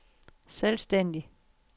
selvstændig